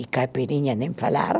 E caipirinha nem falar.